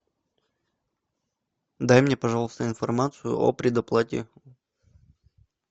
дай мне пожалуйста информацию о предоплате